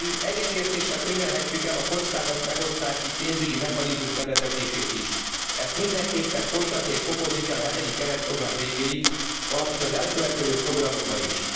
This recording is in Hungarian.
Egyetértéssel könyvelhetjük el a kockázatmegosztási pénzügyi mechanizmus bevezetését is. Ezt mindenképpen folytatni és fokozni kell a hetedik keretprogram végéig, valamint az elkövetkező programokban is.